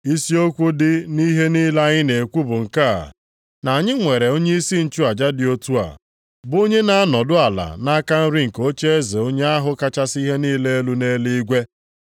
Isi okwu dị nʼihe niile anyị na-ekwu bụ nke a, na anyị nwere onyeisi nchụaja dị otu a, bụ onye na-anọdụ ala nʼaka nri nke ocheeze onye ahụ kachasị ihe niile elu nʼeluigwe.